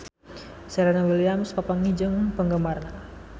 Serena Williams papanggih jeung penggemarna